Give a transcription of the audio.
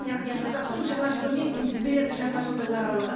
яғни қазақтың жаңа жылы мен күнтізбелік жаңа жылдың аралығы